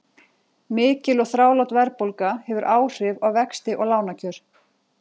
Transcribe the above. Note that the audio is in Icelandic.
Mikil og þrálát verðbólga hefur áhrif á vexti og lánakjör.